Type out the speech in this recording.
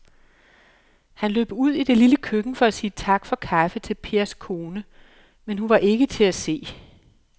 Han løb ud i det lille køkken for at sige tak for kaffe til Pers kone, men hun var ikke til at se.